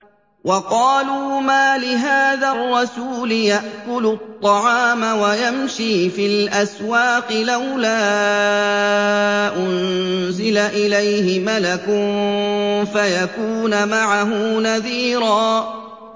وَقَالُوا مَالِ هَٰذَا الرَّسُولِ يَأْكُلُ الطَّعَامَ وَيَمْشِي فِي الْأَسْوَاقِ ۙ لَوْلَا أُنزِلَ إِلَيْهِ مَلَكٌ فَيَكُونَ مَعَهُ نَذِيرًا